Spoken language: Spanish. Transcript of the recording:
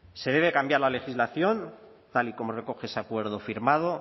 se debe cambiar la legislación tal y como recoge ese acuerdo firmado